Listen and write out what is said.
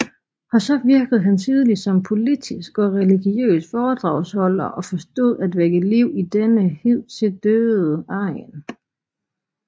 Også virkede han tidlig som politisk og religiøs foredragsholder og forstod at vække liv i denne hidtil døde egn